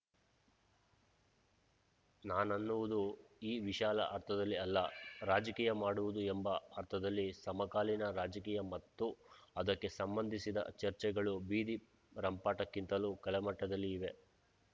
ನಾನನ್ನುವುದು ಈ ವಿಶಾಲ ಅರ್ಥದಲ್ಲಿ ಅಲ್ಲ ರಾಜಕೀಯ ಮಾಡುವುದು ಎಂಬ ಅರ್ಥದಲ್ಲಿ ಸಮಕಾಲೀನ ರಾಜಕೀಯ ಮತ್ತು ಅದಕ್ಕೆ ಸಂಬಂಧಿಸಿದ ಚರ್ಚೆಗಳು ಬೀದಿ ರಂಪಾಟಕ್ಕಿಂತಲೂ ಕಳಮಟ್ಟದಲ್ಲಿ ಇವೆ